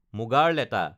মুগাৰ লেটা